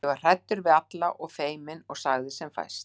Ég var hræddur við alla og feiminn og sagði sem fæst.